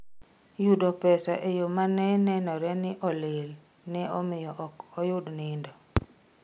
Yudo pesa eyo ma ne nenore ni olil neomiyo ok oyud nindo.